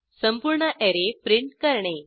संपूर्ण array print करणे